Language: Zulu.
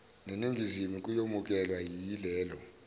neningizimu kuyomukelwa yileli